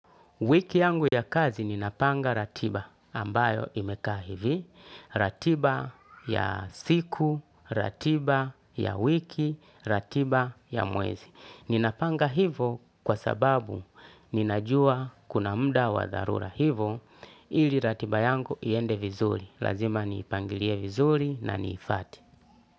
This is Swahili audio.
Wiki yangu ya kazi ninapanga ratiba ambayo imekaa hivi, ratiba ya siku, ratiba ya wiki, ratiba ya mwezi. Ninapanga hivo kwa sababu ninajua kuna muda wa dharura hivo ili ratiba yangu iende vizuri. Lazima niipangilie vizuri na niifate.